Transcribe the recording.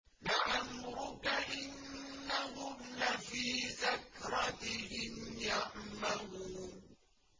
لَعَمْرُكَ إِنَّهُمْ لَفِي سَكْرَتِهِمْ يَعْمَهُونَ